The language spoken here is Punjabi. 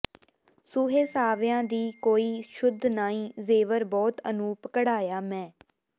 ਸੂਹੇ ਸਾਵਿਆਂ ਦੀ ਕੋਈ ਸੁਧ ਨਾਈਂ ਜ਼ੇਵਰ ਬਹੁਤ ਅਨੂਪ ਘੜਾਇਆ ਮੈਂ